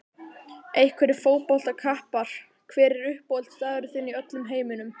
Einhverjir fótboltakappar Hver er uppáhaldsstaðurinn þinn í öllum heiminum?